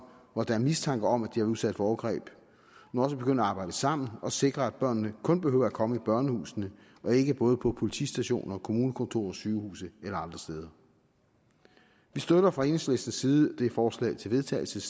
hvor der er mistanke om at de har været udsat for overgreb nu også begynder at arbejde sammen og sikre at børnene kun behøver at komme i børnehuset og ikke både på politistation og kommunekontor og sygehus og andre steder vi støtter fra enhedslistens side teksten i det forslag til vedtagelse